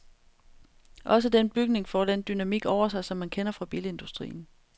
Også den bygning får den dynamik over sig, som man kender fra bilindustrien.